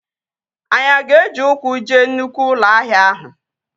Anyị aga eji ụkwụ jee nnụkwụ ụlọ ahịa ahụ?